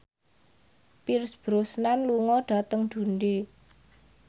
Pierce Brosnan lunga dhateng Dundee